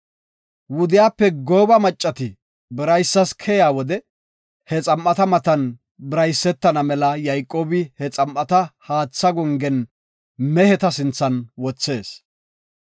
Wudiyape gooba maccati biraysas keyiya wode he xam7ata matan biraysetana mela Yayqoobi he xam7ata haatha gongen meheta sinthan wothees.